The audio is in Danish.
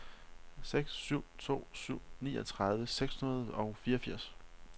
seks syv to syv niogtredive seks hundrede og fireogfirs